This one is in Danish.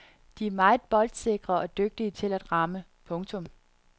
De er meget boldsikre og dygtige til at ramme. punktum